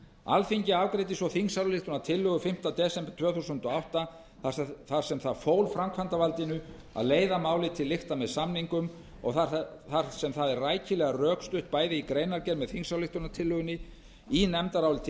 alþingi afgreiddi svo þingsályktunartillögu fimmta desember tvö þúsund og átta þar sem það fól framkvæmdarvaldinu að leiða málið til lykta með samningum og þar sem það er rækilega rökstutt bæði í greinargerð þingsályktunartillögunnar í nefndaráliti